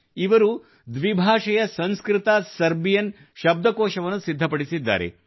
ಇವರು ದ್ವಿಭಾಷೆಯ ಸಂಸ್ಕೃತ ಸರ್ಬಿಯನ್ ಶಬ್ದಕೋಶವನ್ನು ಸಿದ್ಧಪಡಿಸಿದ್ದಾರೆ